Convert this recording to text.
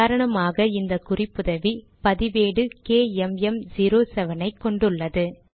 உதாரணமாக இந்த குறிப்புதவி பதிவேடு கேஎம்எம்07 ஐ கொண்டுள்ளது